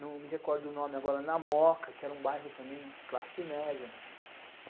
não me recordo o nome agora, Namoca, que era um bairro também classe média.